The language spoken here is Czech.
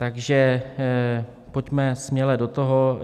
Takže pojďme směle do toho.